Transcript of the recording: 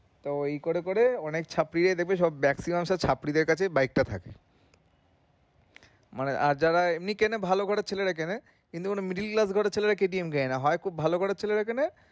তো ই করে করে অনেক ছাত্রীরাই দেখবে সব maximum সব ছাত্রীদের কাছে bike টা থাকে আর যারা ভালো ঘরের ছেলেরা কিনে কিন্তু কোনো ছেলেরা KTM কিনে কিনা জানিনা হয় খুব ভালো ঘরের ছেলেরা কিনে